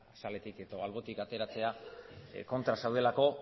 azaletik edo albotik ateratzea kontra zaudelako